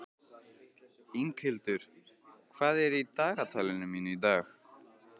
Inghildur, hvað er í dagatalinu mínu í dag?